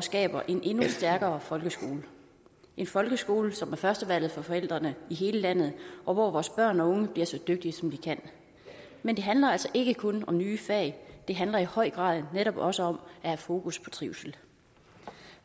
skaber en endnu stærkere folkeskole en folkeskole som er førstevalget for forældrene i hele landet og hvor vores børn og unge bliver så dygtige som de kan men det handler altså ikke kun om nye fag det handler i høj grad netop også om at have fokus på trivsel